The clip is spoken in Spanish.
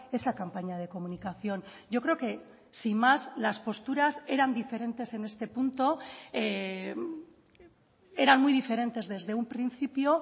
esa campaña de comunicación yo creo que sin más las posturas eran diferentes en este punto eran muy diferentes desde un principio